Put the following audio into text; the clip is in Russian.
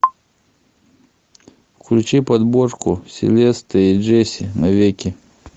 включи подборку селеста и джесси навеки